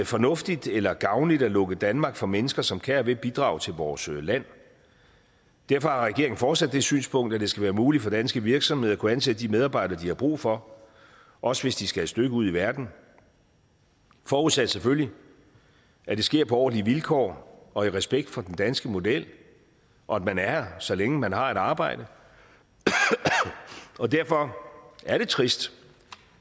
fornuftigt eller gavnligt at lukke danmark for mennesker som kan og vil bidrage til vores land og derfor har regeringen fortsat det synspunkt at det skal være muligt for danske virksomheder at kunne ansætte de medarbejdere de har brug for også hvis de skal et stykke ud i verden forudsat selvfølgelig at det sker på ordentlige vilkår og i respekt for den danske model og at man er her så længe man har et arbejde og derfor er det trist